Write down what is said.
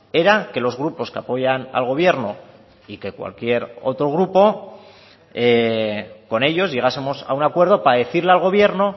era que los grupos que apoyan al gobierno y que cualquier otro grupo con ellos llegásemos a un acuerdo para decirle al gobierno